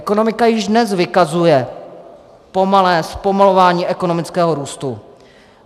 Ekonomika již dnes vykazuje pomalé zpomalování ekonomického růstu.